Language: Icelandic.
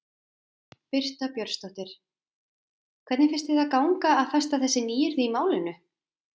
Birta Björnsdóttir: Hvernig finnst þér ganga að festa þessi nýyrði í málinu?